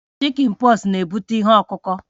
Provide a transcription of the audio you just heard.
Chikin pọks na-ebute ihe ọkụ ọkụ